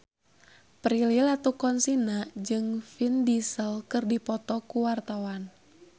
Prilly Latuconsina jeung Vin Diesel keur dipoto ku wartawan